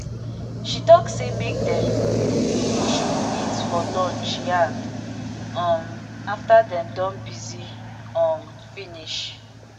she talk say make dem should meet for lunch yarn um after dem don busy um finish.